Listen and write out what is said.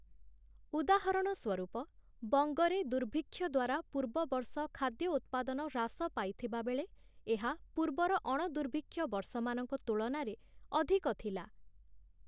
ଉଦାହରଣ ସ୍ୱରୂପ ବଙ୍ଗରେ ଦୁର୍ଭିକ୍ଷ ଦ୍ଵାରା ପୂର୍ବ ବର୍ଷ ଖାଦ୍ୟ ଉତ୍ପାଦନ ହ୍ରାସ ପାଇଥିବା ବେଳେ, ଏହା ପୂର୍ବର ଅଣ-ଦୁର୍ଭିକ୍ଷ ବର୍ଷମାନଙ୍କ ତୁଳନାରେ ଅଧିକ ଥିଲା ।